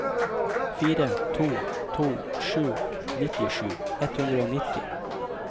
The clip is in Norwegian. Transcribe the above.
fire to to sju nittisju ett hundre og nitti